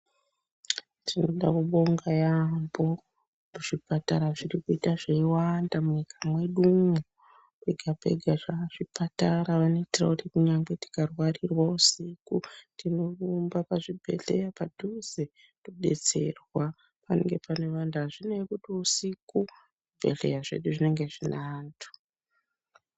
Tinoda kubonga yaampo zvipatara zviri kuita zveiwanda munyika mwedumwo. Pega pega zvazvipatara. Vanoitirawo kuti kunyangwe tikarwarirwa usiku tinorumbe pazvibhedhleya padhuze todetserwa. Panenge pane vantu azvinei kuti usiku, zvibhedhleya zvedu zvinenge zvine antu.